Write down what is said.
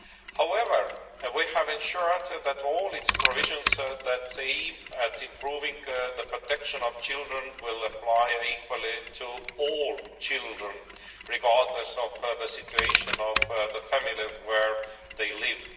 However, we have ensured that all its provisions that aim at improving the protection of children will apply equally to all children, regardless of the situation of the family where they live.